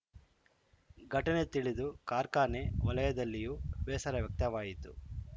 ಘಟನೆ ತಿಳಿದು ಕಾರ್ಖಾನೆ ವಲಯದಲ್ಲಿಯೂ ಬೇಸರ ವ್ಯಕ್ತವಾಯಿತು